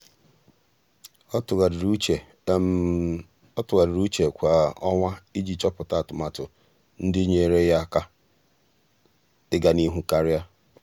ọ́ tụ́gharị́rị́ úchè ọ́ tụ́gharị́rị́ úchè kwa um ọnwa iji chọ́pụ́tá atụmatụ ndị nyéeré yá um áká um iganịhụ karịa.